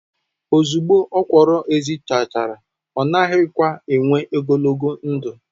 ozugbo okwuru ezi chara o naghi kwa enww ogologo ndu